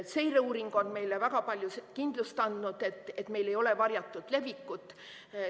Seireuuring on meile väga palju kindlust andnud, et meil ei ole varjatud levikut.